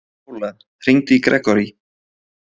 Pála, hringdu í Grégory.